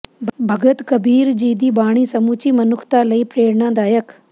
ਭਗਤ ਕਬੀਰ ਜੀ ਦੀ ਬਾਣੀ ਸਮੁੱਚੀ ਮਨੁੱਖਤਾ ਲਈ ਪ੍ਰੇਣਾਦਾਇਕ